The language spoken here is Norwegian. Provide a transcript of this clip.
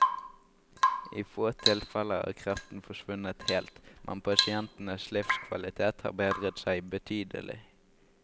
I få tilfeller har kreften forsvunnet helt, men pasientenes livskvalitet har bedret seg betydelig.